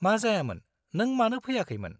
मा जायामोन. नों मानो फैयाखैमोन?